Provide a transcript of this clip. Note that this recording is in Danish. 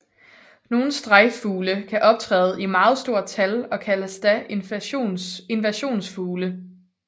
Nogle strejffugle kan optræde i meget stort tal og kaldes da invasionsfugle